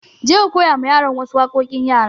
Je ka koya ma yaran wa su waƙoƙin yara!